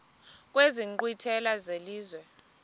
kwezi nkqwithela zelizwe